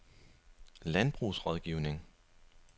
Landbrugsrådgivning